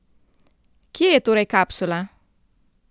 Kje je torej kapsula?